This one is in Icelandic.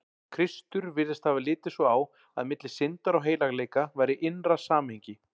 Kristur virðist hafa litið svo á, að milli syndar og heilagleika væri innra samhengi.